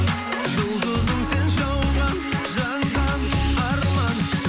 жұлдызым сен жауған жанған арман